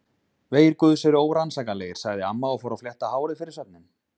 Vegir Guðs eru órannsakanlegir sagði amma og fór að flétta hárið fyrir svefninn.